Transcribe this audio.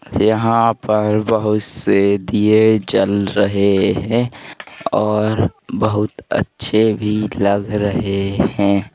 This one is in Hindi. यहां पर बोहुत से दिये जल रहे हैं और बोहुत अच्छे भी लग रहे हैं।